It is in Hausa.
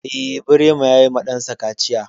Eh, Birema ya yi ma ɗan sa kaciya.